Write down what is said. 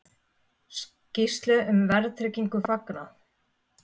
Skýrslu um verðtryggingu fagnað